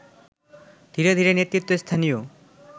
ধীরে ধীরে নেতৃত্ব স্থানীয়